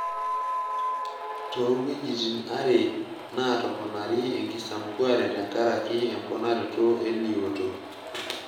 Toowuejitin are naatoponari enkisampuare tenkaraki emponaroto eliooto.